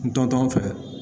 N dɔntɔ fɛ